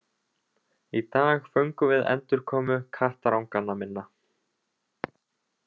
Í dag fögnum við endurkomu kattaranganna minna